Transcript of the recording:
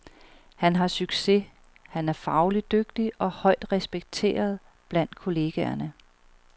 Han har succes, han er faglig dygtig og højt respekteret blandt kollegerne.